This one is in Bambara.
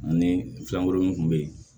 Ni fɛnkuru min tun bɛ yen